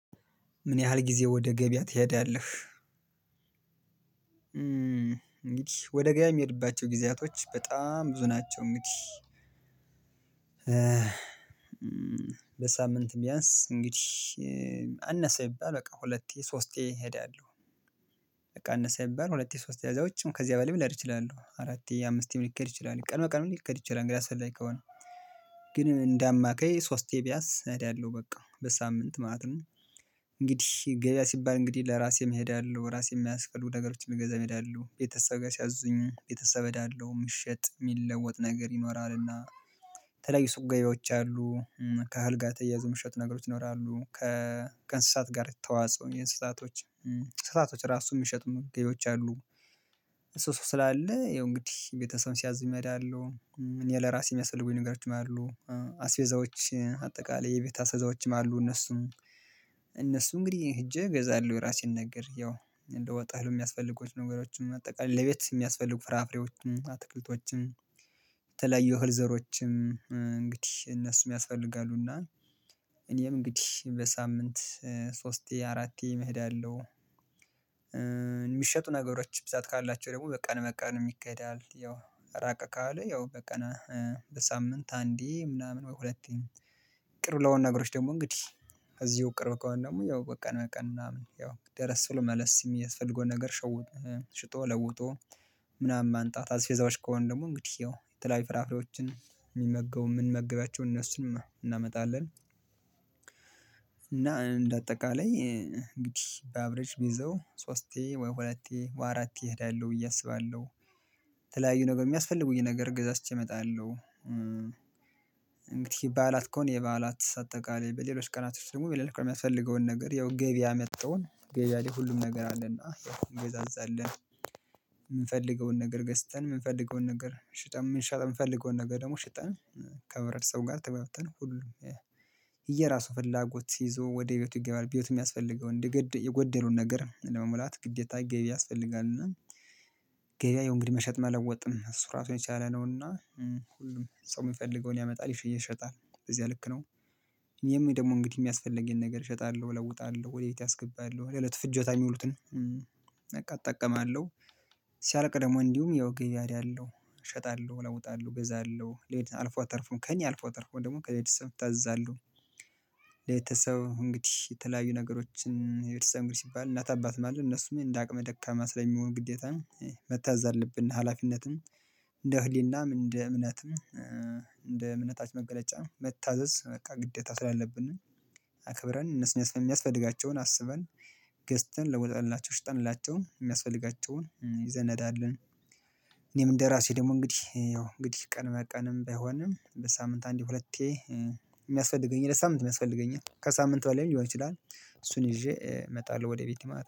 ምን ያህል ጊዜ ወደ ገበያ ትሄዳለህ? እንግዲህ ወደ ገበያ የሚሄድባቸው ጊዜያቶች በጣም ብዙ ናቸው እንግዲህ። በሳምንት ቢያንስ እንግዲህ አነሰ ይባል በቃ ሁለቴ ሶስቴ እሄዳለሁ በቃ አነሳ ይባል ሁለቴ ሶስቴ ያዛዎችም ከዚያ በላይ ምላር እችላለሁ አራቴ አምሥንደ አማካይ ሶስቴ ቢያስ እሄዳለሁ በቃ በሳምንት ማለት ነው። እንግዲህ ገበያ ሲባል እንግዲህ ለራሴም እሄዳለሁ ራሴ የሚገዛ እሄዳለው ቤተሰብ ጋር ሲያዝኝ ቤተሰብ እዳለው የሚሸጥ የሚለወጥ ነገር ይኖራልና ተለይ ሱቅ ገዢዎች አሉ ከአልጋ ተያይዞ የሚሸጥ ነገሮች ይኖራሉ። ከእንስሳት ጋር ተዋጽኦ እንስሳቶች እንስሳቶች ራሱን የሚሸጡ ገበያዎች አሉ። እሱ ስላለ ያው እንግዲህ ቤተሰብ ሲያዝም እሄዳለሁ ምን የለ ራሴየሚያስፈልጉኝ ነገሮችም አሉ አስቤዛዎች አጠቃላይ የቤት አስቤዛዎችም አሉ እነሱም እነሱ እንግዲህ ሄጄ እገዛለሁ የራሴን ነገር ያው እንደ ወጣ ህልም የሚያስፈት ነገሮችም አጠቃላይ ለቤት የሚያስፈልጉ ፍራፍሬዎችም አትክልቶችም የተለያዩ እህል ዘሮችም እንግዲህ እነሱ የሚያስፈልጋሉ እና እኔም እንግዲህ በሳምንት ሶስቴ አራቴ እሄዳለው። የሚሸጡ ነገሮች ብዛት ካላቸው ደግሞ በቀን በቀን ይከዳል ያው ራቀ ካለ ያው በቀን በሳምንት አንዴ ምናምን በሁለቴ ቅር ለሆኑ ነገሮች ደግሞ እንግዲህ እዚሁ ቅርብ ከሆነ ደግሞ ያው በቀን በቀን ምናምን ያው ደረስ ስለመለስ የሚያስፈልገውን ነገር ሽጦ ለውጦ ምናምን ማንጣት አስቤዛዎች ከሆኑ ድግሞ እንግዲህ ይኸው የተለያዩ ፍራፍሬዎችን የሚመገቡ የምንመግባቸው እነሱንም እናመጣለን። እና እንደ አጠቃላይ እንግዲህ በአብሬጅ ብይዘው ሶስቴ ወይ ሁለቴ ወይአራቴ እሄዳለሁ ብዬ አስባለሁ ተለያዩ ነገር የሚያስፈልጉኝ ነገር ገዛዝቸ እመጣለሁ። እንግዲህ በዓላት ከሆነ የበዓላት አጠቃላይ በሌሎች ቀናቶች ደግሞ በሌሎች ቀናቶች የሚያስፈልገውን ነገር ያው ገቢያ አመጣውን ገዛ ላይ ሁሉም ነገር አለና እንገዛዛለን የምንፈልገውን ነገር ገዝተን የምንፈልገውን ነገር ሽጠን የምንሸጥ የምንፈልገውን ነገር ደግሞ ሽጠን ከህብርተሰቡ ጋር ተግባብተን ሁሉም እየራሱ ፍላጎት ይዞ ወደ ቤቱ ይገባል ቤት የሚያስፈልገውን የጎደሉን ነገር ለመሙላት ግዴታ ገቢያ ያስፈልጋል። እና ገቢያ አየው እንግዲህ መሸጥ መለወጥም እና እሱ ራሱን የቻለ ነው። እና ሁሉም ሰው የሚፈልገውን ያመጣል ይሸጣል በዚህ ልክ ነው የሚል ደግሞ እንግዲህ የሚያስፈልገኝን ነገር እሸጣለሁ እለውጣለሁ ወደ ቤት አስገባለው ለለት ፍጀታ የሚውሉትን በቃ እጠቀማለሁ ሲያልቅ ደግሞ እንዲሁም ያው ግያድ አለው እሸጣለሁ እወጣለሁ እገዛለሁ ሌት አልፎ አተርፎም ከእኔ አልፎ አተርፎም ደግሞ ከሌት ሰው ታዛለሁ። ሌት ሰው እንግዲህ የተለያዩ ነገሮችን የቤተሰብ እንግዲህ ሲባል እናት አባትም አለ እነሱም እንደ አቅመ ደካማ ስለሚሆን ግዴታ ነው መታዘዝ አለብን ሀላፊነትም እንደ እህሊናም እንደ እምነታች መገለጫም መታዘዝ በቃ ግዴታ ስላለብን ነው አክብረን እነሱን የሚያስፈልጋቸውን አስበን ገዝተን ለውጠንላቸው ሽጠንላቸው የሚያስ ይዘን እንሄዳለን። እኔም እንደራሴ ደግሞ እንግዲህ ያው እንግዲህ ቀን መቀንም ባይሆንም በሳምንት አንድ ሁለቴ የሚያስፈልገኝ ለሳምንት የሚያስፈልገኝ ከሳምንት በላይም ሊሆን ይችላል እሱን ይዤ እመጣለሁ ወደ ቤት